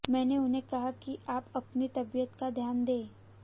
मैंने उन्हें कहा कि आप अपनी तबीयत का ध्यान दें